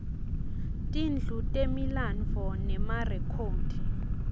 tindlu temilandvo nemarekhodi